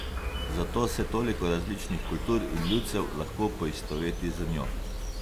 Zato se toliko različnih kultur in ljudstev lahko poistoveti z njo.